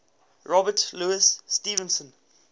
robert louis stevenson